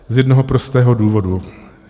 Z jednoho prostého důvodu.